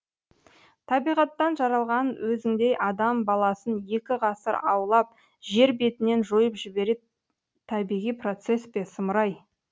табиғаттан жаралған өзіңдей адам баласын екі ғасыр аулап жер бетінен жойып жіберет табиғи процесс пе сұмырай